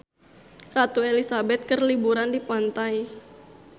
Ratu Elizabeth keur liburan di pantai